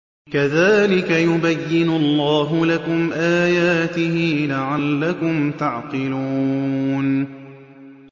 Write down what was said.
كَذَٰلِكَ يُبَيِّنُ اللَّهُ لَكُمْ آيَاتِهِ لَعَلَّكُمْ تَعْقِلُونَ